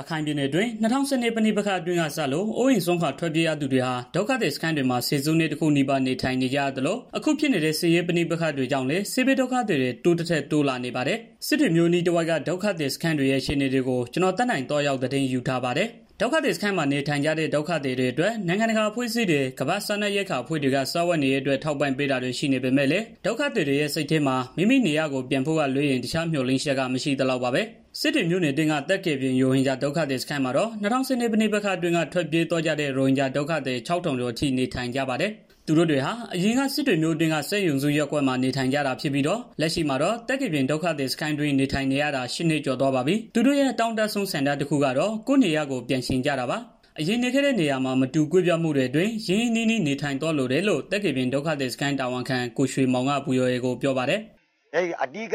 ရခိုင်ပြည်နယ်အတွင်း၂၀၁၂ ပဋိပက္ခအတွင်းကစလို့ အိုးအိမ်စွန့်ခွာပြေးကြရသူတွေဟာ ဒုက္ခသည်စခန်းတွေမှာ ဆယ်စုနှစ်တခုနီးပါး နေထိုင်နေကြရသလို၊ အခု ဖြစ်နေတဲ့ စစ်ရေပဋိပက္ခတွေကြောင့်လည်း စစ်ဘေးဒုက္ခသည်တွေ တိုးသထက်တိုးလာနေပါတယ်။ စစ်တွေမြို့အနီးတဝိုက်က ဒုက္ခသည်စခန်းတွေရဲ့ အခြေအနေကို ဗွီအိုအေမြန်မာပိုင်းသတင်းထောက် ကိုသက်နိုင်က သတင်းပေးပို့ထားပါတယ်။ ဒုက္ခသည်စခန်းမှာ နေထိုင်နေကြတဲ့ ဒုက္ခသည်တွေအတွက် နိုင်ငံတကာအဖွဲ့အစည်းတွေ ကမ္ဘာ့စားနပ် ရိက္ခာအဖွဲ့တွေက စားဝတ်နေရေးအတွက် ထောက်ပံ့တာတွေရှိနေပေမဲ့လည်း ဒုက္ခသည်တွေရဲ့ စိတ်ထဲမှာ မိမိနေရပ်ကို ပြန်ရဖို့က လွဲရင်း တခြားမျှော်လင့်ချက်က မရှိသလောက်ပါဘဲ။ စစ်တွေမြို့အတွင်းက သက်ကယ်ပြင် ရိုဟင်ဂျာဒုက္ခသည်စခန်းမှာတော့ ၂၀၁၂ ပဋိပက္ခအတွင်းက ထွက်ပြေးသွားကြတဲ့ ရိုဟင်ဂျာဒုက္ခသည် ၆,၀၀၀ ကျော်အထိနေထိုင်နေကြပါတယ်။ သူတို့တွေဟာ အရင်က စစ်တွေမြို့အတွင်းက စက်ရုံစုရပ်ကွက်မှာ နေထိုင်ကြတာဖြစ်ပြီးတော့ လက်ရှိမှာတော့ သက်ကယ်ပြင် ဒုက္ခသည်စခန်းတွင်း နေထိုင်နေရတာ ၈ နှစ်ကျော်သွားပါပြီ။ သူတို့ရဲ့ အတောင့်တဆုံး ဆန္ဒကတော့ ကိုယ့်နေရပ်ကို ပြန်ချင်ကြတာပါ။ အရင်နေခဲ့တဲ့နေရာမှာ မတူကွဲပြားမှုတွေအတွင်း ချစ်ကြည်ရင်းနှီးစွာနေထိုင်သွားလိုတယ်လို့ သက်ကယ်ပြင်ဒုက္ခသည်စခန်းတာဝန်ခံ ကိုရွှေမောင်က VOA ကို ပြောပါတယ်။ “အဓိက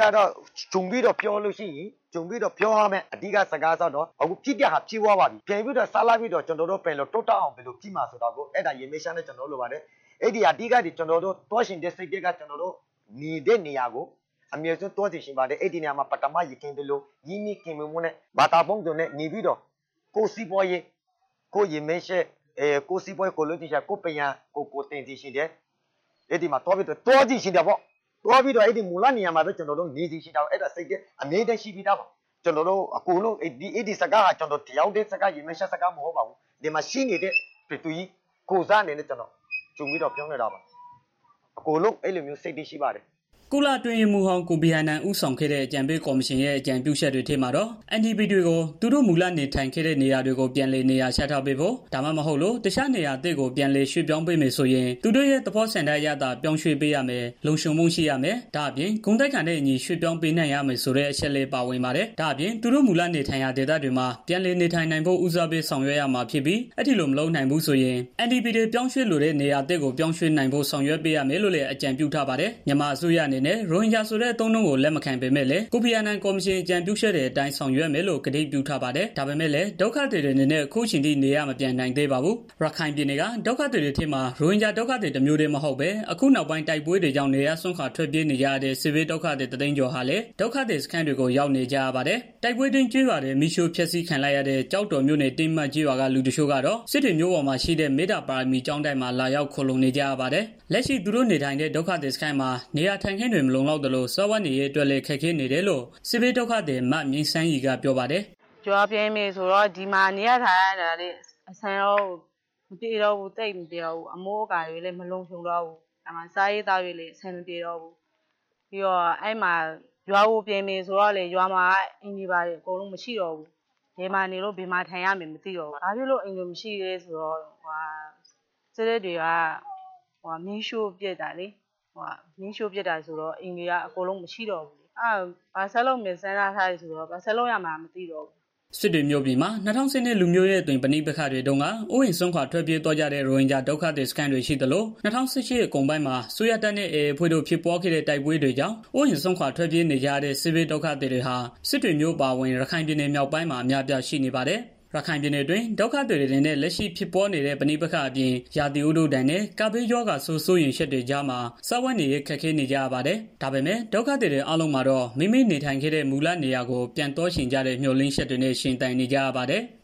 ခြုံပြီးတော့ ပြောရမယ်ဆိုရင် ကျနော်တို့ ဖြစ်ခဲ့တာလည်း ဖြစ်သွားပါပြီး ကျနော်တို့ ဆက်လက်ပြီးတော့ ပြန်ပြီးတော့ တိုးတက်အောင် ဘယ်လို ဆောင်ရွက်ကြမလဲဆိုတာကို ရည်မှန်းချက် ကျနော်တို့ လိုပါတယ်။ ကျနော်တို့ သွားချင်တာကတော့ ကျနော်တို့ အရင်နေခဲ့တဲ့နေရာကို ကျနော်တို့ သွားချင်ပါတယ်။ အဲဒီမှာ ပထမနေခဲ့သလို ရင်းနှီးခင်မင်မှုတွေနဲ့ ဘာသာပေါင်းစုံနေပြီးတော့ ကိုယ့်စီးပွားရေး ကိုယ့်ရည်မှန်းချက် ကိုယ့်ပညာကို သင်ယူပြီးတော့ သွားချင်တာပေါ့ သွားပြီးတော့ အဲဒီမူလနေရာကိုပဲ သွားချင်တာပေါ့။ အဲလိုသွားချင်တာ ကျနော်တစ်ယောက်တည်း မဟုတ်ပါဘူး ဒီမှာရှိနေတဲ့ လူတွေ အားလုံးကိုယ်စား ကျနော်ဒီစကားကို ပြောရတာပါ။” ကုလအတွင်းရေးမှူးချုပ်ဟောင်း ကိုဖီအာနန် ဦးဆောင်ခဲ့တဲ့ အကြံပေးကော်မရှင်ရဲ့ အကြံပြုချက်တွေထဲမှာတော့ IDP တွေကို သူတို့ မူလနေထိုင်နေတဲ့နေရာတွေကို ပြန်လည်နေရာချထားပေးဖို့ ဒါမှမဟုတ်လို့ တခြားနေရာသစ်ကို ပြန်လည်ရွှေ့ပြောင်းပေးမယ်ဆိုရင် သူတို့ရဲ့ သဘောဆန္ဒအရသာ ဆောင်ရွက်ပေးရမယ်၊ လုံခြုံမှု ရှိရမယ်။ ဒါ့အပြင် ဂုဏ်သိက္ခာနဲ့ အညီ ပြောင်းရွှေ့နိုင်ရမယ်ဆိုတဲ့ အချက် ပါဝင်ပါတယ်။ ဒါ့အပြင် သူတို့ မူလနေထိုင်ရာ ဒေသတွေမှာ ပြန်လည်နေထိုင်နိုင်ဖို့ ဦးစားပေး ဆောင်ရွက်ရ မှာဖြစ်ပြီး အဲဒီလို မလုပ်နိုင်ဘူးဆိုရင် IDP တွေ ပြောင်းရွှေ့လိုတဲ့ နေရာသစ်ကို ပြောင်းရွှေ့နိုင်ဖို့ ဆောင်ရွက်ပေးရမယ်လို့လည်း အကြံပေးထားပါတယ်။ မြန်မာအစိုးရအနေနဲ့ ရိုဟင်ဂျာဆိုတဲ့ အသုံးအနှုန်းကို လက်မခံပေမဲ့လည်း ကိုဖီအာနန်ကော်မရှင် အကြံပြုချက်တွေအတိုင်း ဆောင်ရွက်မယ်လို့ ဂတိပြုထားပါတယ်။ ဒါပေမဲ့လည်း ဒုက္ခသည်တွေအနေနဲ့ ခုအချိန်အထိ နေရပ်မပြန်နိုင်သေးပါဘူး။ ရခိုင်ပြည်နယ်က ဒုက္ခသည်တွေထဲမှာ ရိုဟင်ဂျာဒုက္ခသည် တမျိုးတည်းတင် မဟုတ်ဘဲ အခုနောက်ပိုင်း တိုက်ပွဲတွေကြောင့် နေရပ်စွန့်ခွာထွက်ပြေးနေကြရတဲ့ စစ်ဘေးဒုက္ခသည် ၁၀၀,၀၀၀ ကျော်ဟာလည်း ဒုက္ခသည်စခန်းတွေကို ရောက်နေကြရပါတယ်။ တိုက်ပွဲအတွင်းကျေးရွာတွေ မီးရှိူ့ဖျက်ဆီးခံလိုက်ရတဲ့ ကျောက်တော်မြို့နယ် တင်းမကျေး ရွာက လူတချို့ကတော့ စစ်တွေမြို့ပေါ်မှာ ရှိတဲ့ မေတ္တာပါရမီကျောင်းတိုက်မှာ လာရောက် ခိုလုံနေကြရပါတယ်။ လက်ရှိသူတို့နေထိုင်တဲ့ ဒုက္ခသည်စခန်းမှာ နေရာထိုင်ခင်းတွေလည်း မလုံလောက်သလို စားဝတ်နေရေးအတွက်လည်း ခက်ခဲ့နေတယ်လို့ စစ်ဘေးဒုက္ခသည်မမြင့်ဆန်းရီက ပြောပါတယ်။ “ဒီမှာနေရထိုင်ရတာတော့ သိပ်အဆင်မပြေဘူး အမိုးအကာလည်း မလုံခြုံတော့ဘူး။ စားရေး သောက်ရေးလည်း အဆင်မပြေတော့ဘူး ရွာကို ပြန်မယ်ဆိုတော့လည်းရွာမှာက အိမ်တွေ ဘာတွေ အကုန်လုံးမရှိတော့ဘူး။ ဘယ်မှာနေလို့ ဘယ်မှာထိုင်ရမယ် မသိတော့ဘူး။ ဘာဖြစ်လို့ အိမ်တွေက မရှိတော့တာလည်း ဆိုတော့ တစ်ရွာလုံး မီးရှိူ့ခံရလို့လေ။ ဘာဆက်လုပ်ရမယ်မှန်းလည်း မသိတော့ဘူး။ ” စစ်တွေမြို့ပြင်မှာ ၂၀၁၂ လူမျိုးရေးအသွင် ပဋိပက္ခတွေတုန်းက အိုးအိမ်စွန့်ခွာထွက်ပြေးသွားကြတဲ့ ရိုဟင်ဂျာ ဒုက္ခသည်စခန်းတွေရှိ သလို ၂၀၁၈ အကုန်ပိုင်း အစိုးရတပ်နဲ့ AA အဖွဲ့တို့ ဖြစ်ပွားခဲ့တဲ့ တိုက်ပွဲတွေကြောင့် အိုးအိမ်စွန့်ခွာထွက်ပြေးနေကြရတဲ့ စစ်ဘေးဒုက္ခသည်စခန်းတွေဟာ စစ်တွေမြို့အပါအဝင် ရခိုင်ပြည်နယ်မြောက်ပိုင်းမှာ အများအပြား ရှိနေပါတယ်။ ရခိုင်ပြည်နယ်တွင်း ဒုက္ခသည်အတွေအနေနဲ့ လက်ရှိဖြစ်နေတဲ့ ပဋိပက္ခအပြင်၊ ရာသီဥတုဒဏ်နဲ့ ကပ်ဘေးရောဂါဆိုး စိုးရိမ်ချက်တွေကြားမှာ စားဝတ်နေရေး ခက်ခဲနေကြပါတယ်။ ဒါပေမဲ့ ဒုက္ခသည်တွေ အားလုံးမှာတော့ မိမိနေထိုင်ခဲ့တဲ့ မူလနေရာတွေကို ပြန်သွားချင်ကြတဲ့ မျှော်လင့်ချက်တွေနဲ့ပဲ ရှင်သန်နေရပါတယ်။